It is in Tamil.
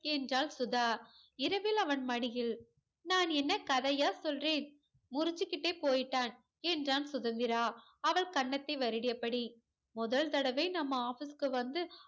என்றால் சுதா இரவில் அவன் மடியில் நான் என்ன கதையா சொல்றேன் முரச்சிக்கிட்டே போய்ட்டான் என்றான் சுதந்திரா அவள் கன்னத்தை வருடியபடி முதல் தடவ நம்ம office க்கு வந்து